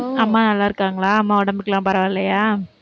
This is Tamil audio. ஓ, அம்மா நல்லா இருக்காங்களா, அம்மா உடம்புக்கெல்லாம் பரவாயில்லையா?